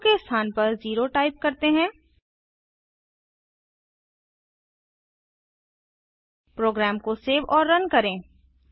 अब 2 के स्थान पर 0 टाइप करते हैं प्रोग्राम को सेव और रन करें